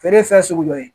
Feere ye fɛn sugu dɔ ye